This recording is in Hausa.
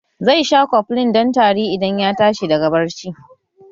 Zai sha koflin don tari idan ya tashi daga barci